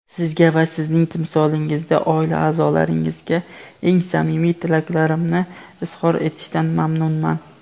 Sizga va sizning timsolingizda oila-a’zolaringizga eng samimiy tilaklarimni izhor etishdan mamnunman.